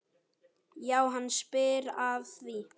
Já, hann spyr að því?